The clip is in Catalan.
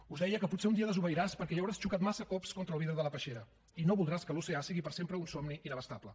us deia que potser un dia desobeiràs perquè ja hauràs xocat massa cops contra el vidre de la peixera i no voldràs que l’oceà sigui per sempre un somni inabastable